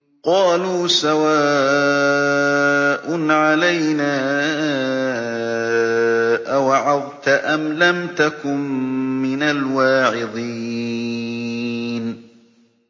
قَالُوا سَوَاءٌ عَلَيْنَا أَوَعَظْتَ أَمْ لَمْ تَكُن مِّنَ الْوَاعِظِينَ